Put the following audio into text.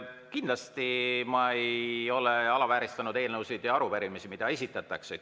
Kindlasti ei ole ma alavääristanud eelnõusid ja arupärimisi, mida esitatakse.